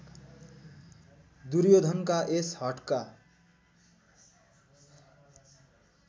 दुर्योधनका यस हठका